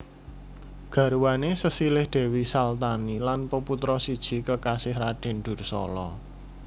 Garwane sesilih Dewi Salthani lan peputra siji kekasih Raden Dursala